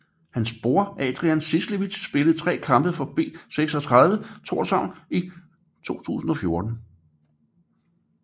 Hans bror Adrian Cieslewicz spillede 3 kampe for B36 Tórshavn i 2014